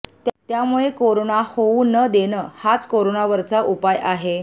त्यामुळे कोरोना होऊन न देणं हाच कोरोनावरचा उपाय आहे